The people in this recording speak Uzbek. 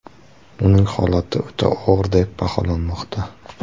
Uning holati o‘ta og‘ir deb baholanmoqda.